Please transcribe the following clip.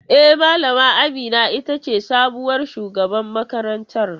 E, Malama Amina ita ce sabuwar shugaban makarantar.